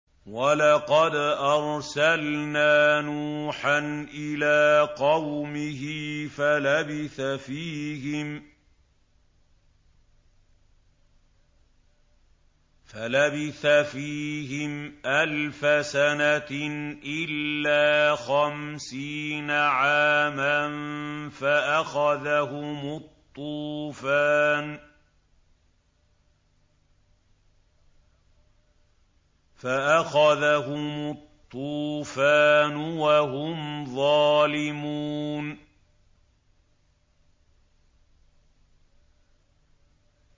وَلَقَدْ أَرْسَلْنَا نُوحًا إِلَىٰ قَوْمِهِ فَلَبِثَ فِيهِمْ أَلْفَ سَنَةٍ إِلَّا خَمْسِينَ عَامًا فَأَخَذَهُمُ الطُّوفَانُ وَهُمْ ظَالِمُونَ